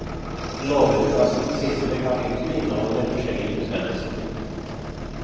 Lovutkastets siste kapittel inneholder forskjellige bestemmelser.